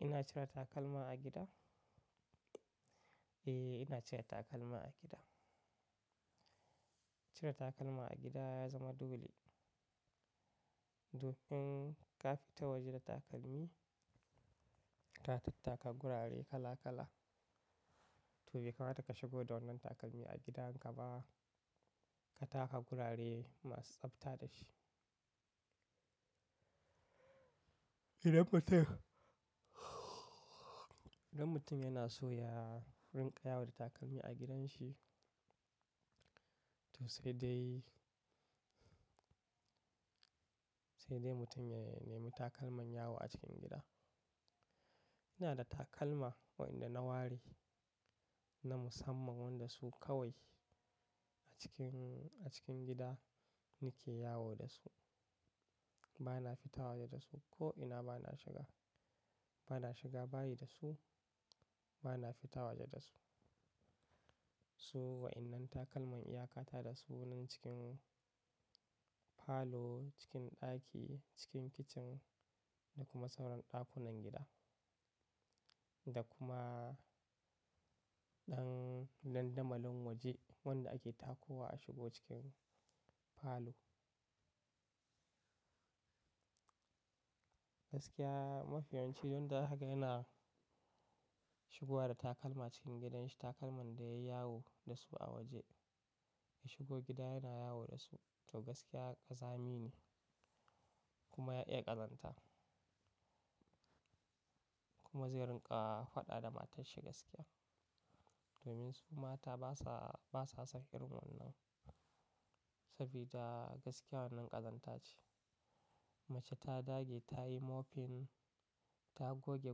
Ina cire takalma a gida? Eh, ina cire takalma a gida. Cire takalma a gida ya zama dole. Domin ka fita waje da takalmi, ka tattaka gurare kala kala. To, bai kamata ka shigo da wannan takalmi a gidanka ba. Ka taka gurare masu tsafta da shi. Gidan mutum, gidan mutum yana so ya, rinƙa yawo da takalmi a gidanshi. To, sai dai, sai dai mutum ya nemi takalman yawo a cikin gida. Ina da takalma waɗanda na ware na musamman wanda su kawai a cikin, a cikin gida nake yawo da su. Bana fita waje da su ko ina bana shiga, bana shiga bayi da su, bana fita waje da su. Su waƴannan takalman iyakata da su nan cikin falo, cikin ɗaki, cikin kicin da kuma sauran ɗakunan gida. Da kuma ɗan dandamalin waje wanda ake takowa a shigo cikin falo. Gaskiya mafi yawan ci wanda zaka ga yana shigowa da takalma cikin gidanshi. Takalman da yayi yawo da su a waje, ya shigo gida yana yawo da su. To, gaskiya ƙazami ne kuma ya iya ƙazanta. Kuma zai rinƙa faɗa da matarshi gaskiya. Domin su mata basa, basa son irin wannan. Sabida gaskiya wannan ƙazanta ce. Mace ta dage ta yi mofin, ta goge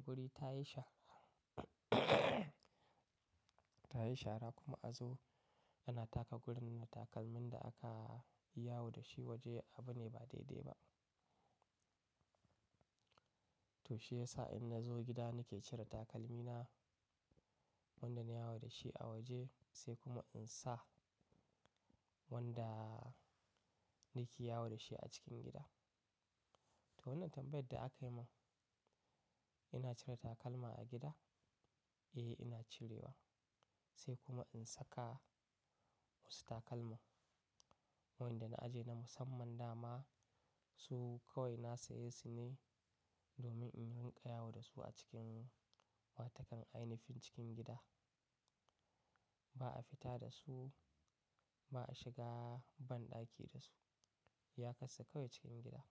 guri, ta yi shara ta yi shara kuma a zo ana taka gurin da takalmin da aka yi yawo da shi a waje abu ne ba daidai ba. To, shi yasa in na zo gida nake cire takalmina. Wanda nayi yawo da shi a waje sai kuma in sa wanda nake yawo da shi a cikin gida. To, wannan tambayar da aka yi mun, ina cire takalma a gida? Eh, ina cirewa. Sai kuma in saka wasu takalma waɗanda na ajiye na musamman dama. Su kawai na saye su ne domin in rinƙa yawo da su a cikin wato kan ainihin cikin gida. Ba a fita da su, ba a shiga banɗaki da su. Iya karsa kawai cikin gida.